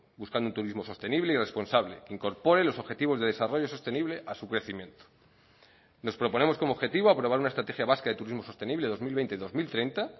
buscando un turismo sostenible y responsable que incorpore los objetivos de desarrollo sostenible a su crecimiento nos proponemos como objetivo aprobar una estrategia vasca de turismo sostenible dos mil veinte dos mil treinta